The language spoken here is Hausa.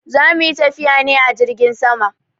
Za mu yi tafiya ne a jirgin sama.